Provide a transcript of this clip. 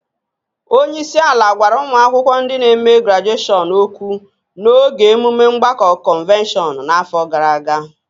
Onye isi ala gwara ụmụ akwụkwọ ndị n'eme grajueshọn ókwú n'oge emume mgbakọ kọnvokeshọn n'afọ gara aga